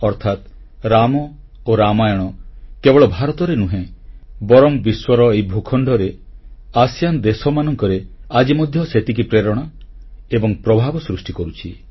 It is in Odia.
ଅର୍ଥାତ ରାମ ଓ ରାମାୟଣ କେବଳ ଭାରତରେ ନୁହେଁ ବରଂ ବିଶ୍ୱର ଏହି ଭୂଖଣ୍ଡରେ ଆସିଆନ୍ ଦେଶମାନଙ୍କରେ ଆଜି ମଧ୍ୟ ସେତିକି ପ୍ରେରଣା ଏବଂ ପ୍ରଭାବ ସୃଷ୍ଟି କରୁଛି